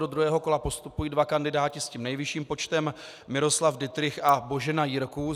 Do druhého kola postupují dva kandidáti s tím nejvyšším počtem, Miroslav Dittrich a Božena Jirků.